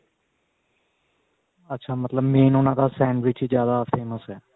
ਅੱਛਾ ਮਤਲਬ main ਉਹਨਾ ਦਾ sandwich ਹੀ ਜਿਆਦਾ famous ਹੈ